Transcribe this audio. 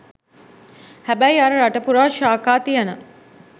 හැබැයි අර රට පුරා ශාඛා තියන